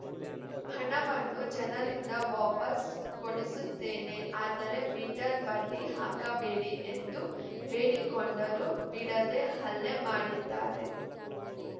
ಹಣವನ್ನು ಜನರಿಂದ ವಾಪಸ್‌ ಕೊಡಿಸುತ್ತೇನೆ ಆದರೆ ಮೀಟರ್‌ ಬಡ್ಡಿ ಹಾಕಬೇಡಿ ಎಂದು ಬೇಡಿಕೊಂಡರು ಬಿಡದೆ ಹಲ್ಲೆ ಮಾಡಿದ್ದಾರೆ